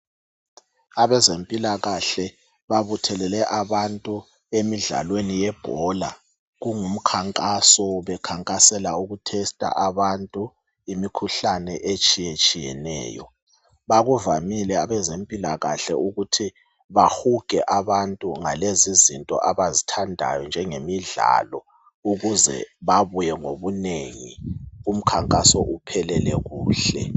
Abezempilakahle babuthelele abantu emidlalweni yebhola. Kungumkhankaso bekhankasela ukuthesta abantu imikhuhlane etshiyatshiyeneyo. Bakuvamile abezempilakahle ukuthi bahuge abantu ngalezizinto abazithandayo njangemidlalo ukuze babuye ngobunengi umkhankaso uphelele kuhle.